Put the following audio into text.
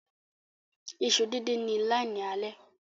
Iṣu din din Ni line ale.